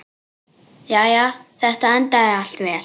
Jæja, þetta endaði allt vel.